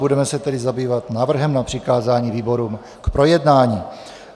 Budeme se tedy zabývat návrhem na přikázání výborům k projednání.